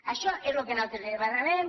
això és lo que nosaltres li demanarem